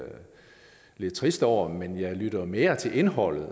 lige trist over men jeg lytter mere til indholdet